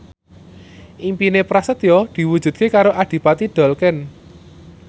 impine Prasetyo diwujudke karo Adipati Dolken